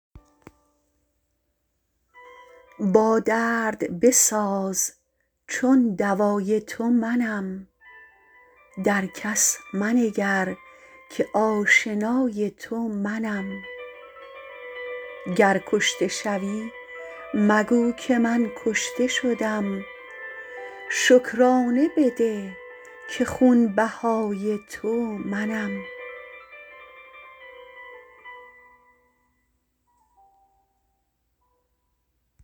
با درد بساز چون دوای تو منم در کس منگر که آشنای تو منم گر کشته شوی مگو که من کشته شدم شکرانه بده که خونبهای تو منم